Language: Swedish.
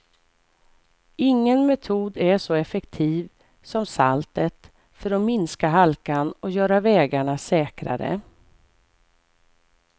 Ingen metod är så effektiv som saltet för att minska halkan och göra vägarna säkrare.